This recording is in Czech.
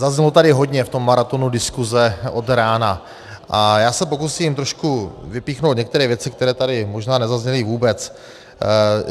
Zaznělo tady hodně v tom maratonu diskuze od rána a já se pokusím trošku vypíchnout některé věci, které tady možná nezazněly vůbec.